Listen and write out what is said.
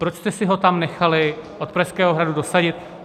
Proč jste si ho tam nechali od Pražského hradu dosadit?